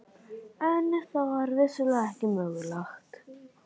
En það var vissulega ekki mögulegt.